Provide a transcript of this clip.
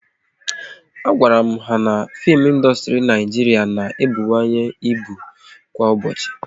A gwara m ha na fim ịndustri Naijiria na-ebuwanye ịbụ kwa ụbọchị